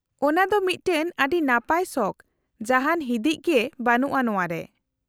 -ᱚᱱᱟᱫᱚ ᱢᱤᱫᱴᱟᱝ ᱟᱹᱰᱤ ᱱᱟᱯᱟᱭ ᱥᱚᱠᱷ, ᱡᱟᱦᱟᱱ ᱦᱤᱫᱤᱡ ᱜᱮ ᱵᱟᱱᱩᱜᱼᱟ ᱱᱚᱶᱟ ᱨᱮ ᱾